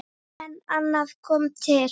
En annað kom til.